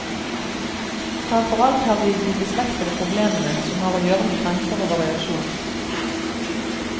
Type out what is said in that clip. Fremfor alt har vi de beslektede problemene som har å gjøre med grenser og variasjon.